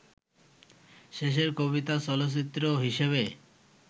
শেষের কবিতা চলচ্চিত্র হিসেবে